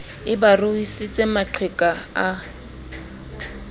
e ba ruisitse maqheka a